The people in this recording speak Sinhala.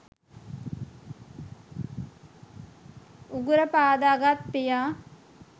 උගුර පාදගත් පියා